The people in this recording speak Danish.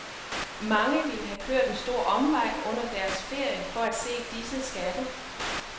Mange vil have kørt en stor omvej under deres ferie for at se disse skatte.